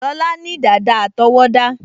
Lọlá ní dàda àtọwọ́dá